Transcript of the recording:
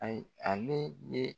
Ayi ale be